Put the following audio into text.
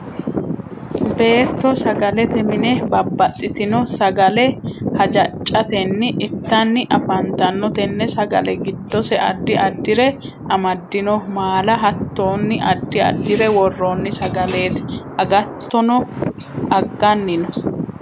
beetto sagalete mine babbaxitino sagale hajaccatenni ittanni affantanno. tenne sagale giddose addi addire amadino. maala, hattonni addi addire worronni sagaleti. agatono agganni no.